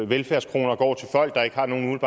velfærdskroner går til folk der ikke har nogen